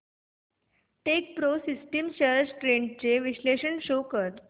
Techpro systems shares trends चे विश्लेषण show कर